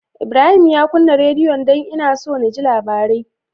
Ibrahim ya kunna rediyon? Dan ina so naji labarai